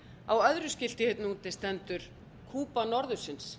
á öðru skilti hérna úti stendur kúba norðursins